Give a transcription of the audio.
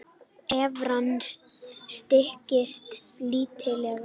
Evran styrkist lítillega